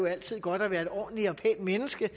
altid godt at være et ordentligt og pænt menneske